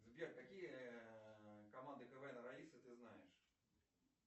сбер какие команды квна раисы ты знаешь